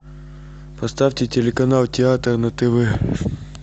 поставьте телеканал театр на тв